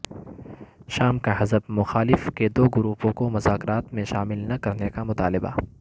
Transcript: شام کا حزب مخالف کے دو گروپوں کو مذاکرات میں شامل نہ کرنے کا مطالبہ